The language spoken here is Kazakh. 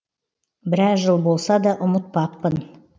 біраз жыл болса да ұмытпаппын